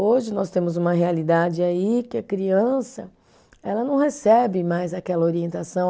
Hoje nós temos uma realidade aí que a criança ela não recebe mais aquela orientação.